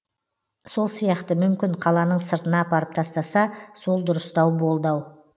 сол сияқты мүмкін қаланың сыртына апарып тастаса сол дұрыстау болды ау